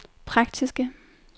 praktiske